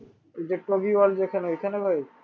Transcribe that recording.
ঐখানে ভাই?